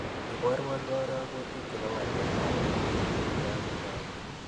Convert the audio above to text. Iborwon karogutik chebo waletab rabisyek che tagunootin